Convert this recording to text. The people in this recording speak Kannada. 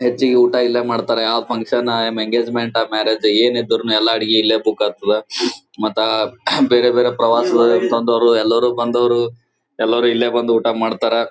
ಹೆಚ್ಚಿಗೆ ಊಟ ಇಲ್ಲೇ ಮಾಡತ್ತರೆ ಆ ಫಂಕ್ಷನ್ ಆ ಎಂಗೇಜ್ಮೆಂಟ್ ಮ್ಯಾರೇಜ್ ಏನ್ ಇದ್ರು ಎಲ್ಲಾ ಅಡಿಗೆ ಇಲ್ಲೇ ಬುಕ್ ಆಗತ್ತದ್ ಮತ್ತ ಬೇರೆ ಬೇರೆ ಪ್ರವಾಸ ಅಂತ ಅಂದವ್ರು ಎಲ್ಲಾರು ಬಂದವ್ರು ಎಲ್ಲಾರು ಇಲ್ಲೇ ಬಂದಿ ಊಟ ಮಾಡತ್ತರ್.